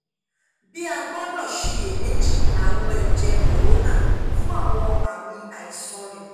bii a gbọdọ ṣiyemeji arun ẹjẹ corona (cad) fun awọn aami aisan rẹ